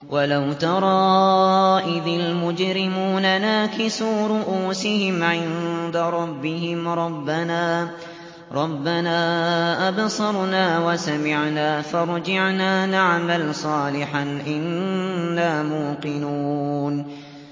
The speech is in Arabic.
وَلَوْ تَرَىٰ إِذِ الْمُجْرِمُونَ نَاكِسُو رُءُوسِهِمْ عِندَ رَبِّهِمْ رَبَّنَا أَبْصَرْنَا وَسَمِعْنَا فَارْجِعْنَا نَعْمَلْ صَالِحًا إِنَّا مُوقِنُونَ